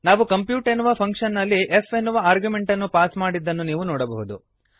ನಾವು ಕಂಪ್ಯೂಟ್ ಎನ್ನುವ ಫಂಕ್ಶನ್ ನಲ್ಲಿ f ಎನ್ನುವ ಆರ್ಗ್ಯುಮೆಂಟ್ ಅನ್ನು ಪಾಸ್ ಮಾಡಿದ್ದನ್ನು ನೀವು ನೋಡಬಹುದು